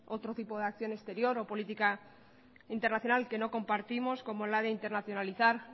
otro tipo de acción exterior o política internacional que no compartimos como la de internacionalizar